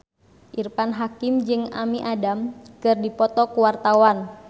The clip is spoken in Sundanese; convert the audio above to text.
Irfan Hakim jeung Amy Adams keur dipoto ku wartawan